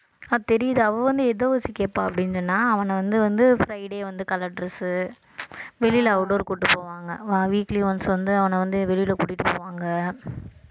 அஹ் தெரியுது அவ வந்து எத வச்சு கேட்பா அப்படின்னு சொன்னா அவனை வந்து வந்து friday வந்து colour dress உ வெளியிலே outdoor கூட்டிட்டு போவாங்க வா~ weekly once வந்து அவனை வந்து வெளியில கூட்டிட்டு போவாங்க